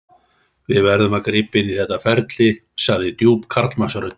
Við verðum að grípa inn í þetta ferli, sagði djúp karlmannsröddin.